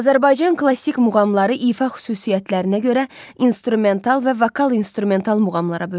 Azərbaycan klassik muğamları ifa xüsusiyyətlərinə görə instrumental və vokal-instrumental muğamlara bölünür.